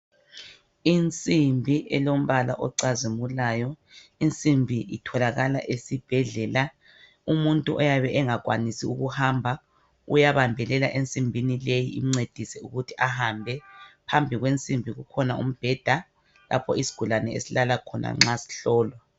Insimbi elombala ocazimulayo. Insimbi itholakala esibhedlela. Umuntu oyabe engakwanisi uyabambelela ensimbini leyi incedise ukuthi ahambe. Phambi kwensimbi kukhona umbheda lapho isigulane esilala khona nxa sihlolwa.